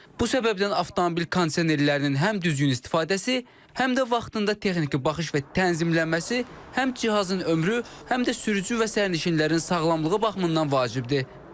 Bu səbəbdən avtomobil kondisionerlərinin həm düzgün istifadəsi, həm də vaxtında texniki baxış və tənzimlənməsi həm cihazın ömrü, həm də sürücü və sərnişinlərin sağlamlığı baxımından vacibdir.